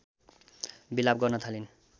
बिलाप गर्न थालिन्